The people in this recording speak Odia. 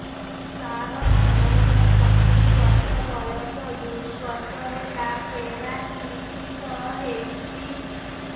ସାର ମୋର ସତୂରୀ ବର୍ଷ ବୟସ ଦୁଇ ବର୍ଷ ହେଲା ପେରାଲିଶିଶ ହେଇଚି